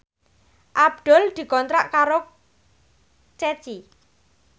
Abdul dikontrak kerja karo Ceci